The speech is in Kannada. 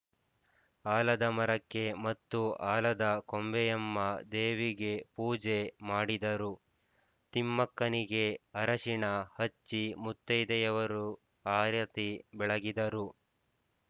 ಆಲದಮರಕ್ಕೆ ಮತ್ತು ಆಲದ ಕೊಂಬೆಯಮ್ಮ ದೇವಿಗೆ ಪೂಜೆ ಮಾಡಿದರು ತಿಮ್ಮಕ್ಕನಿಗೆ ಅರಿಶಿಣ ಹಚ್ಚಿ ಮುತ್ತೈದೆಯರು ಆರತಿ ಬೆಳಗಿದರು